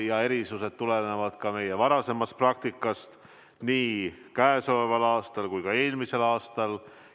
Erisused tulenevad ka meie varasemast praktikast nii käesoleval aastal kui ka eelmisel aastal.